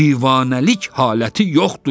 Divanəlik haləti yoxdur.